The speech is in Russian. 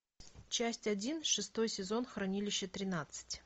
часть один шестой сезон хранилище тринадцать